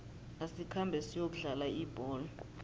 asikhambe siyokudlala ibholo